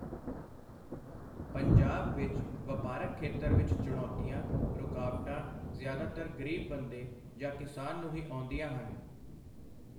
ਪੰਜਾਬ ਵਿੱਚ ਵਪਾਰਕ ਖੇਤਰ ਵਿੱਚ ਚੁਣੌਤੀਆਂ, ਰੁਕਾਵਟਾਂ ਜ਼ਿਆਦਾਤਰ ਗਰੀਬ ਬੰਦੇ ਜਾਂ ਕਿਸਾਨ ਨੂੰ ਹੀ ਆਉਂਦੀਆਂ ਹਨ।